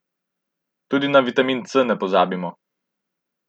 Tudi na vitamin C ne pozabimo.